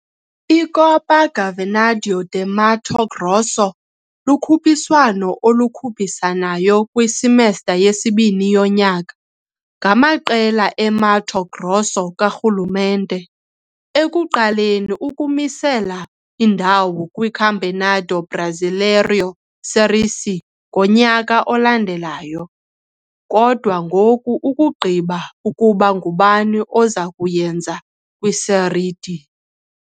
I-Copa Governador de Mato Grosso lukhuphiswano olukhuphisanayo kwi-semester yesibini yonyaka, ngamaqela e-Mato Grosso karhulumente, ekuqaleni ukumisela indawo kwi-Campeonato Brasileiro Série C yonyaka olandelayo, kodwa ngoku ukugqiba ukuba ngubani oza kuyenza kwi-Série D.